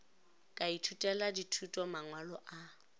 ka ithutela dithuto mangwalo a